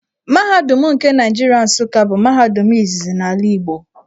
Mahadum nke Naịjirịa Nsuka bụ mahadum izizi n’ala Igbo.